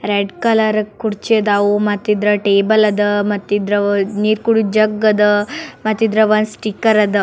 Red colour ಕುರ್ಚಿ ಅದಾವು ಮತ್ ಇದ್ರ ಟೇಬಲ್ ಅದ ಮತ್ ಇದ್ರವು ನೀರ್ ಕುಡಿಯೋ ಜಗ್ಗ್ ಅದ ಮತ್ ಇದ್ರವ ಒಂದ್ ಸ್ಟಿಕ್ಕರ್ ಅದ.